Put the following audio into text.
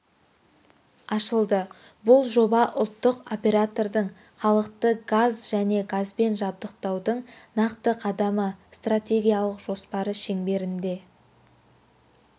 ашылды бұл жоба ұлттық оператордың халықты газ және газбен жабдықтаудың нақты қадамы стратегиялық жоспары шеңберінде